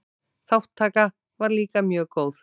Þátttaka var líka mjög góð.